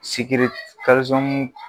Sikiri kalizɔmu